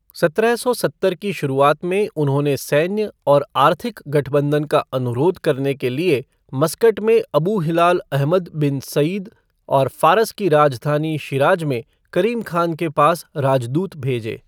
सत्रह सौ सत्तर की शुरुआत में उन्होंने सैन्य और आर्थिक गठबंधन का अनुरोध करने के लिए मस्कट में Abu Hilal Ahmad bin Said और फारस की राजधानी, शिराज में करीम खान के पास राजदूत भेजे।